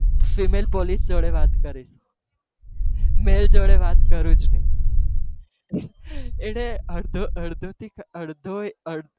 female police જોડે વાત કરીશ male જોડે વાત કરું જ નહી, એણે અડધો અડધો થી અડધો